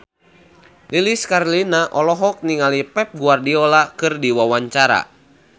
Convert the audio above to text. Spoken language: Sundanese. Lilis Karlina olohok ningali Pep Guardiola keur diwawancara